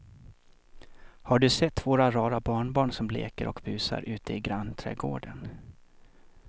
Har du sett våra rara barnbarn som leker och busar ute i grannträdgården!